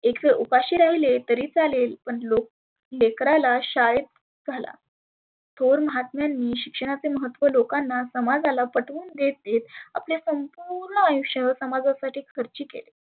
एक वेळ उपाशी राहिले तरी चालेल पण लोक लेकराला शाळेत घाला थोर महात्मेनी शिक्षणाचे महत्त्व लोकांना समाजाला पटवून देत देत आपले संपुर्ण आयुष्य समाजा साठी खर्ची केले.